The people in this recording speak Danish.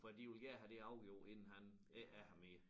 For de ville gerne have det afgjort inden han ikke er her mere